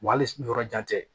Wa hali ni yɔrɔ jan tɛ